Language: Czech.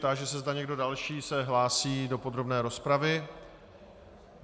Táži se, zda někdo další se hlásí do podrobné rozpravy.